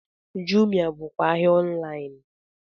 Jumia bụkwa ahịa ọnlaịn